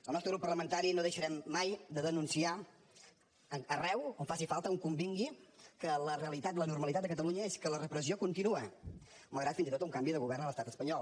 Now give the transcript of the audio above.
el nostre grup parlamentari no deixarem mai de denunciar arreu on faci falta on convingui que la realitat la normalitat de catalunya és que la repressió continua malgrat fins i tot un canvi de govern a l’estat espanyol